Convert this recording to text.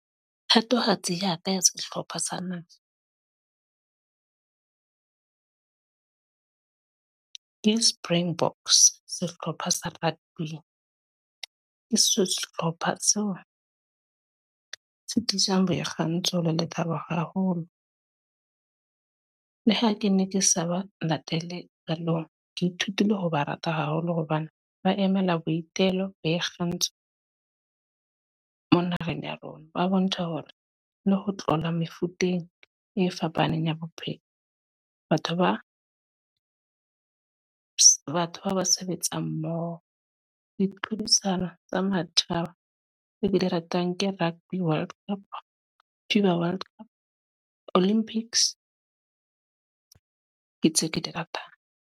Thatohatsi ya ka ya sehlopha sa naha. Ke Springboks, sehlopha sa rugby-ing. Ke sehlopha se o, se tlisang boikgantsho le lethabo haholo. Le ha ke ne ke sa ba latele qalong, ke ithutile ho ba rata haholo hobane ba emela boitelo le bo ikgantsho. Mo naheng ya rona ba bontsha hore le ho tlola mefuteng e fapaneng ya bophelo. Batho ba, batho bao ba sebetsa mmoho. Ditlhodisano tsa matjhaba e be di ratang ke Rugby World Cup, Fifa World Cup, Olympics ke tseo ke di ratang.